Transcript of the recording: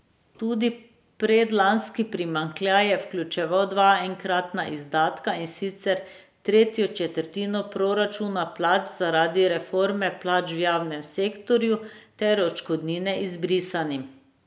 Tudi predlanski primanjkljaj je vključeval dva enkratna izdatka, in sicer tretjo četrtino poračuna plač zaradi reforme plač v javnem sektorju ter odškodnine izbrisanim.